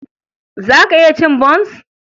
Za ka iya cin bons?